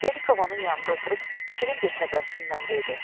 Belikov onun yanında oturub şirin bir təbəssümlə dedi: